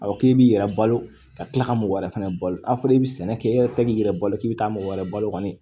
A fɔ k'i b'i yɛrɛ balo ka tila ka mɔgɔ wɛrɛ fɛnɛ balo a fɔra i bɛ sɛnɛ kɛ i yɛrɛ tɛ k'i yɛrɛ balo k'i bɛ taa mɔgɔ wɛrɛ balo kɔni